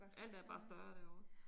Alt er bare større derovre